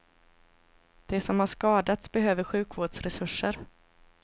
De som har skadats behöver sjukvårdsresurser.